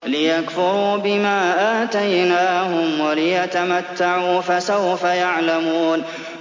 لِيَكْفُرُوا بِمَا آتَيْنَاهُمْ وَلِيَتَمَتَّعُوا ۖ فَسَوْفَ يَعْلَمُونَ